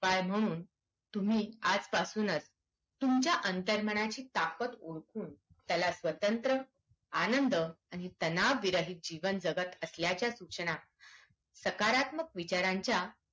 काय म्हणून तुम्ही आज पासूनच तुमच्या अंतर्मनाची ताकत ओळखून त्याला स्वतंत्र आनंद आणि तनाव विरहित जीवन जगत असल्याच्या सूचना सकारात्मक विचारांच्या